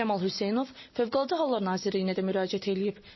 Kamal Hüseynov Fövqəladə Hallar Nazirliyinə də müraciət eləyib.